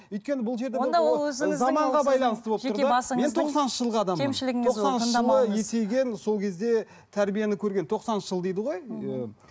өйткені бұл жерді сол кезде тәрбиені көрген тоқсаныншы жыл дейді ғой ііі мхм